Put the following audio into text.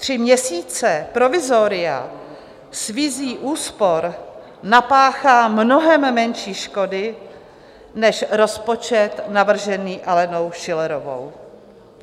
Tři měsíce provizoria s vizí úspor napáchá mnohem menší škody než rozpočet navržený Alenou Schillerovou.